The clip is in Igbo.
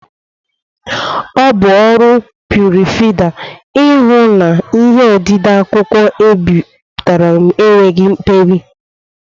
Ọ bụ ọrụ prufrida ihu na ihe odide akwụkwọ ebipụtere enweghị mperi